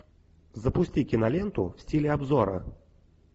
запусти киноленту в стиле обзора